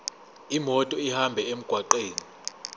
imoto ihambe emgwaqweni